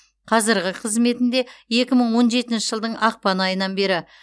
қазіргі қызметінде екі мың он жетінші жылдың ақпан айынан бері